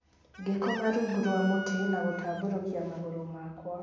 Ngĩkoma rungu rwa mũtĩ na gũtambũrũkia magũrũ makwa